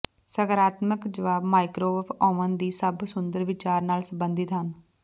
ਸਕਾਰਾਤਮਕ ਜਵਾਬ microwave oven ਦੀ ਸਭ ਸੁੰਦਰ ਵਿਚਾਰ ਨਾਲ ਸੰਬੰਧਿਤ ਹਨ